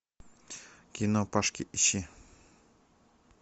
кино пашки ищи